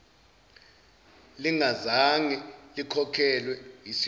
lingazange likhokhelwe yisikhwama